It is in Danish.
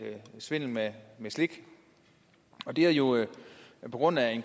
svindel med slik og det er jo på grund af